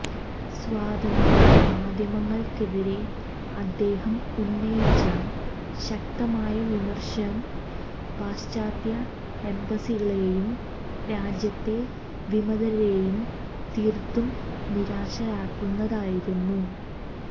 സ്വതന്ത്ര മാധ്യമങ്ങള്ക്കെതിരെ അദ്ദേഹം ഉന്നയിച്ച ശക്തമായ വിമര്ശം പാശ്ചാത്യ എംബസികളേയും രാജ്യത്തെ വിമതരേയും തീര്ത്തും നിരാശരാക്കുന്നതായിരുന്നു